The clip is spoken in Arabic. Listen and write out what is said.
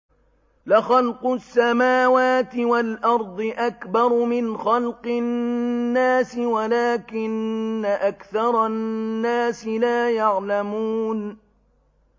لَخَلْقُ السَّمَاوَاتِ وَالْأَرْضِ أَكْبَرُ مِنْ خَلْقِ النَّاسِ وَلَٰكِنَّ أَكْثَرَ النَّاسِ لَا يَعْلَمُونَ